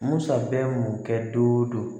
Musa bɛ mun kɛ don o don